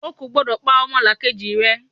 O kò gbọ́dọ̀ pa ọmọlàkejì rẹ!